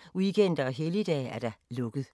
9.00-14.00, weekender og helligdage: lukket.